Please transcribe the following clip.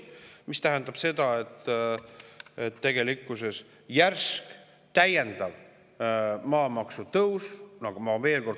See tähendab, et maamaksu täiendav järsk tõus.